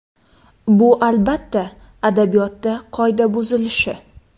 Bu, albatta, adabiyotda qoida buzilishi.